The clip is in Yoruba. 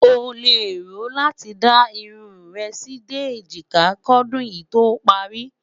ọ leè rò láti dá irún rè sí dé ejika kò dùn yí tó pari